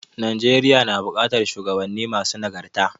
Najeriya nu buƙatar shuwagabanni masu nagarta.